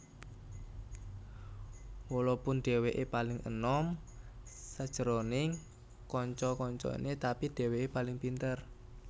Walopun dheweke paling enom sajroning kanca kancane tapi dheweke paling pinter